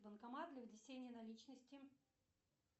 банкомат для внесения наличности